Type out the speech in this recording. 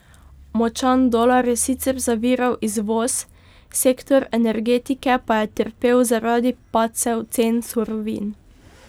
Močan dolar je sicer zaviral izvoz, sektor energetike pa je trpel zaradi padcev cen surovin.